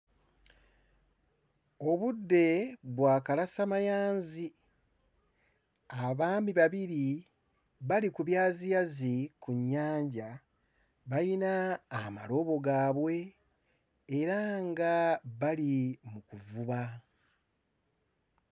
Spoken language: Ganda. Obudde bwa kalasamayanzi abaami babiri bali ku byaziyazi kunnyanja bayina amalobo gaabwe era nga bali mu kuvuba.